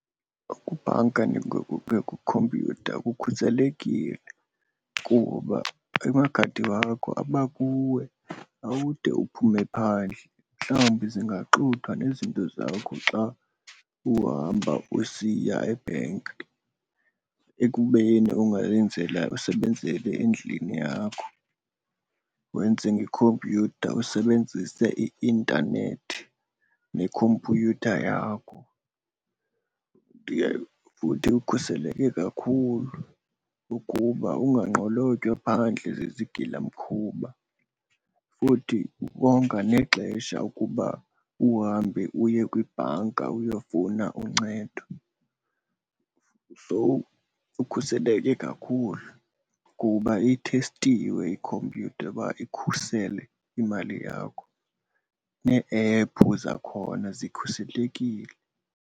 Ukubhanka kwikhompyutha kukhuselekile kuba amakhadi wakho abakuwe, awude uphume phandle. Mhlawumbi zingaxuthwa nezinto zakho xa uhamba usiya ebhenki ekubeni ungayenzela usebenzele endlini yakho wenze ngekhompyutha usebenzise i-intanethi nekhompyutha yakho. Futhi ukhuseleke kakhulu ukuba unganqolotywa phandle zizigilamkhuba futhi konga nexesha ukuba uhambe uye kwibhanka uyofuna uncedo. So ukhuseleke kakhulu kuba ithestiwe ikhompyutha uba ikhusele imali yakho nee-ephu zakhona zikhuselekile.